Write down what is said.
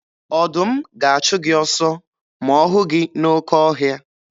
Ọdụm ga-achụ gị ọsọ ma ọ hụ gị n'oke ọhịa.